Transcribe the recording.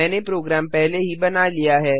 मैंने प्रोग्राम पहले ही बना लिया है